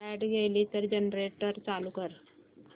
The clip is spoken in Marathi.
लाइट गेली तर जनरेटर चालू कर